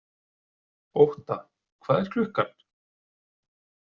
Ótta, hvað er klukkan?